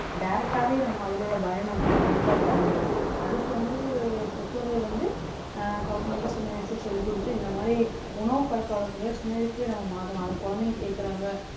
direct ஆவே நம்ம அதுல உள்ள பயனை வந்து கண்டிப்பா பெற முடியும். அதுக்கு வந்து பெற்றோர்கள் வந்து அஹ் குழந்தைங்கள்ட்ட சின்ன வயசுல சொல்லிக்குடுத்து இந்த மாதிரி உணவு பழக்கவழக்கங்களை சின்ன வயசுலேயே நம்ம மாத்தலாம் அதை குழந்தைங்க கேக்குறாங்க